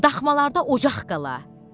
Daxmalarda ocaq qala.